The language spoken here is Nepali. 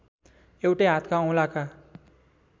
एउटै हातका औंलाका